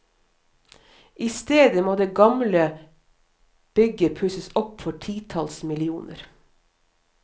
I stedet må det gamle bygget pusses opp for titalls millioner.